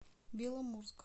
беломорск